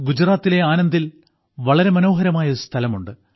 ഗുജറാത്തിലെ ആനന്ദിൽ വളരെ മനോഹരമായൊരു സ്ഥലമുണ്ട്